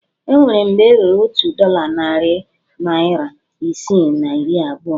O nwere mgbe e rere otu dọla narị naira isii na iri abụọ